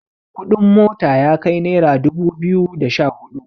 kuɗin mota ya kai naira dubu biyu da Sha hudu